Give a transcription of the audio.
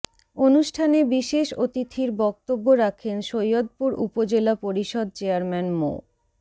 অনুষ্ঠানে বিশেষ অতিথির বক্তব্য রাখেন সৈয়দপুর উপজেলা পরিষদ চেয়ারম্যান মো